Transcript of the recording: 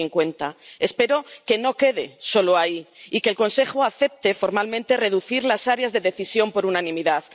2050. Espero que no quede solo ahí y que el Consejo acepte formalmente reducir las áreas de decisión por unanimidad.